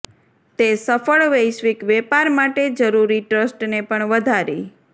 તે સફળ વૈશ્વિક વેપાર માટે જરૂરી ટ્રસ્ટને પણ વધારી